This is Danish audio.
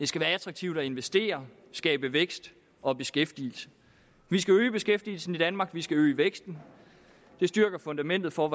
skal være attraktivt at investere skabe vækst og beskæftigelse vi skal øge beskæftigelsen i danmark vi skal øge væksten det styrker fundamentet for